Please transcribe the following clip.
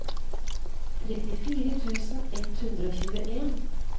trettifire tusen ett hundre og tjueen